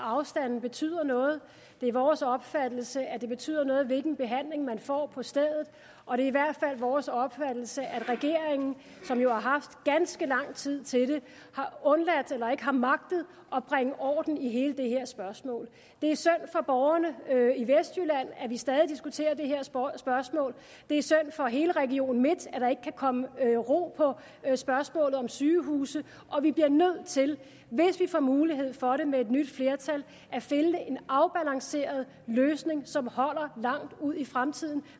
afstanden betyder noget det er vores opfattelse at det betyder noget hvilken behandling man får på stedet og det er i hvert fald vores opfattelse at regeringen som jo har haft ganske lang tid til det ikke har magtet at bringe orden i hele det her spørgsmål det er synd for borgerne i vestjylland at vi stadig diskuterer det her spørgsmål det er synd for hele region midtjylland at der ikke kan komme ro på spørgsmålet om sygehuse vi bliver nødt til hvis vi får mulighed for det med et nyt flertal at finde en afbalanceret løsning som holder langt ud i fremtiden